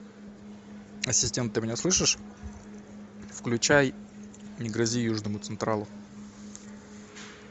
ассистент ты меня слышишь включай не грози южному централу